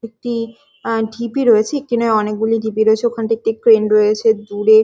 একটি আঁ ঢিপি রয়েছে এখানে অনেক গুলো ঢিপি রয়েছে ওখানটাতে ট্রেন রয়েছে দূরে--